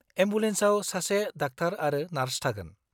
एम्बुलेन्साव सासे डाक्टार आरो नार्स थागोन।